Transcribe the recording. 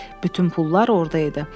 Bütün pullar orada idi.